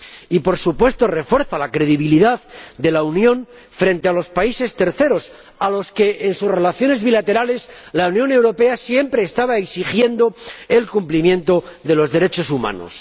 Y refuerza la credibilidad de la Unión frente a los terceros países, a los que, en sus relaciones bilaterales, la Unión Europea siempre estaba exigiendo el cumplimiento de los derechos humanos.